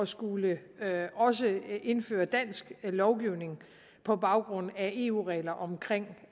skulle indføre dansk lovgivning på baggrund af eu regler omkring